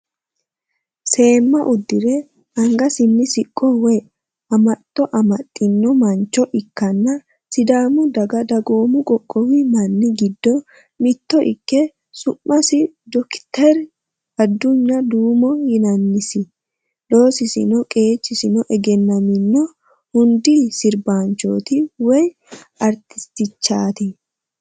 Seemma uddire angasinni siqqo woy amaxxo amaxxino mancho ikke sidaamu daga dagoomu qoqqowi manni giddo mitto ikke sumasi dokiteeri adunya duumo yinannisi. Loosisi qeechino egennanino hundi sirbaanchooti woy artistichaati?